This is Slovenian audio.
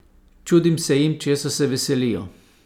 Čudim se jim česa se veselijo?